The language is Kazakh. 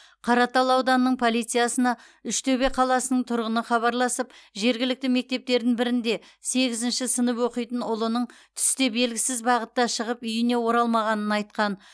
қаратал ауданының полициясына үштөбе қаласының тұрғыны хабарласып жергілікті мектептердің бірінде сегізінші сынып оқитын ұлының түсте белгісіз бағытта шығып үйіне оралмағанын айтқан